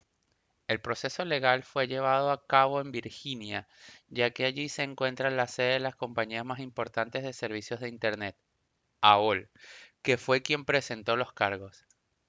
el proceso legal fue llevado a cabo en virginia ya que allí se encuentra la sede de la compañía más importante de servicios de internet aol que fue quien presentó los cargos